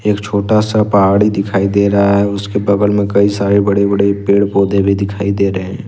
एक छोटा सा पहाड़ी दिखाई दे रहा है उसके बगल में कई सारे बड़े बड़े पेड़ पौधे भी दिखाई दे रहे हैं।